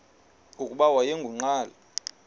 nokuba wayengu nqal